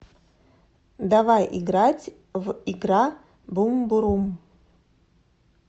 давай играть в игра бумбурум